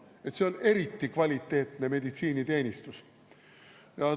Kas see on eriti kvaliteetne meditsiiniteenus?